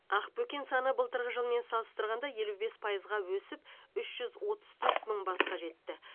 ақбөкен саны былтырғы жылмен салыстырғанда елу бес пайызға өсіп үш жүз отыз төрт мың басқа жетті